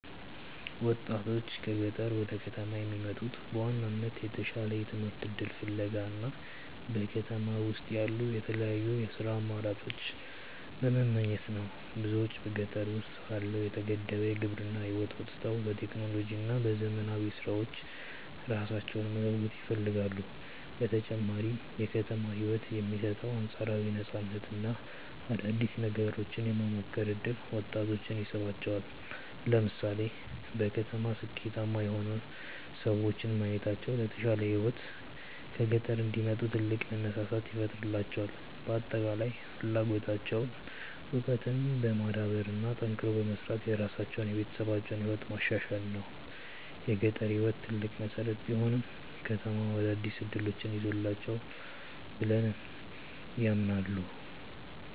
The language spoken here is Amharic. ወጣቶች ከገጠር ወደ ከተማ የሚመጡት በዋናነት የተሻለ የትምህርት እድል ፍለጋ እና በከተማ ውስጥ ያሉ የተለያዩ የሥራ አማራጮችን በመመኘት ነው። ብዙዎች በገጠር ውስጥ ካለው የተገደበ የግብርና ህይወት ወጥተው በቴክኖሎጂ እና በዘመናዊ ስራዎች ራሳቸውን መለወጥ ይፈልጋሉ። በተጨማሪም የከተማው ህይወት የሚሰጠው አንፃራዊ ነፃነት እና አዳዲስ ነገሮችን የመሞከር እድል ወጣቶችን ይስባቸዋል። ለምሳሌ በከተማ ስኬታማ የሆኑ ሰዎችን ማየታቸው ለተሻለ ህይወት ከገጠር እንዲወጡ ትልቅ መነሳሳት ይፈጥርላቸዋል። በአጠቃላይ ፍላጎታቸው እውቀትን በማዳበር እና ጠንክሮ በመስራት የራሳቸውንና የቤተሰባቸውን ህይወት ማሻሻል ነው። የገጠር ህይወት ትልቅ መሰረት ቢሆንም፣ ከተማው አዳዲስ እድሎችን ይዞላቸዋል ብለው ያምናሉ።